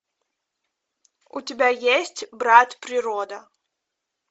у тебя есть брат природа